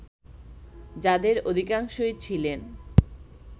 যাদের অধিকাংশই ছিলেন